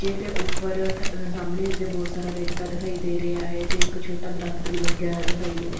ਜੇ ਤੇ ਊਪਰ ਥ ਸਾਹਮਣੇ ਵੀ ਤੇ ਬੋਹਤ ਸਾਰਾ ਰੇਤਾ ਦਿਖਾਈ ਦੇ ਰਿਹਾ ਹੈ ਤੇ ਇੱਕ ਛੋਟਾ ਦਰੱਖਤ ਵੀ ਲੱਗੇਆ ਹੋਇਆ ਦਿਖਾਈ ਦੇ ਰਿਹਾ।